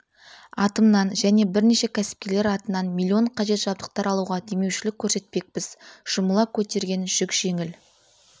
атымнан және бірнеше кәсіпкерлер атынан миллион қажет жабдықтар алуға демеушілік көрсетпекпіз жұмыла көтерген жүк жеңіл